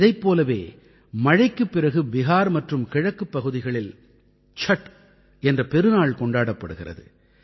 இதைப் போலவே மழைக்குப் பிறகு பிஹார் மற்றும் கிழக்குப் பகுதிகளில் சட் என்ற பெருநாள் கொண்டாடப்படுகிறது